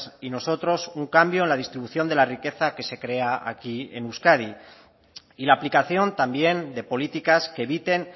y nosotros un cambio en la distribución de la riqueza que se crea aquí en euskadi y la aplicación también de políticas que eviten